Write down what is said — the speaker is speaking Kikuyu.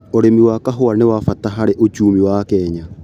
ũrĩmi wa kahũa nĩ wabata hari uchumi wa Kenya.